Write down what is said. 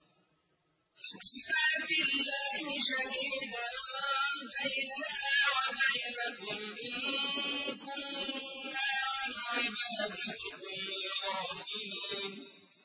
فَكَفَىٰ بِاللَّهِ شَهِيدًا بَيْنَنَا وَبَيْنَكُمْ إِن كُنَّا عَنْ عِبَادَتِكُمْ لَغَافِلِينَ